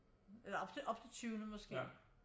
Eller op til tyvende måske